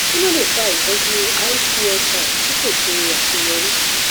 kí ló lè fa ìtọjú icsi tí kò ṣe àṣeyọrí